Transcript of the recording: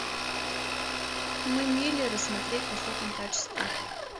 мы миллеры смотреть в высоком качестве